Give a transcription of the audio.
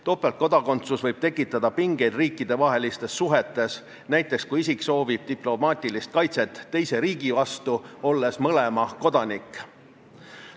Topeltkodakondsus võib tekitada pingeid riikidevahelistes suhetes, näiteks kui isik soovib diplomaatilist kaitset teise riigi eest, olles mõlema kodanik.